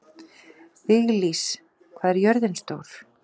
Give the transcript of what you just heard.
Viglís, hvað er jörðin stór?